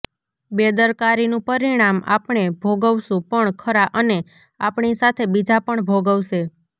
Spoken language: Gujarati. બેદરકારીનું પરિણામ આપણે ભોગવશું પણ ખરા અને આપણી સાથે બીજા પણ ભોગવશે